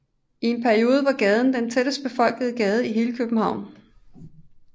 I en periode var gaden den tættest befolkede gade i hele København